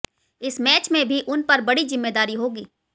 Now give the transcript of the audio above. इस मैच में भी उन पर बड़ी जिम्मेदारी होगी